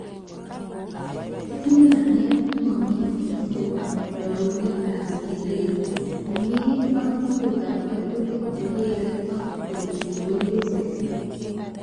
Ketinye namet nemamitee kobun rarunetab keret nemee ak tugukab walutik chekere ak koito kewelutik